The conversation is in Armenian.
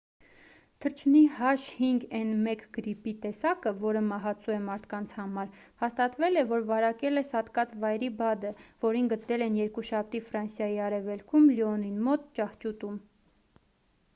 թռչնի h5n1 գրիպի տեսակը որը մահացու է մարդկանց համար հաստատվել է որ վարակել է սատկած վայրի բադը որին գտել էին երկուշաբթի ֆրանսիայի արևելքում լիոնին մոտ ճահճուտում: